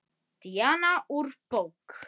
Díana úr bók.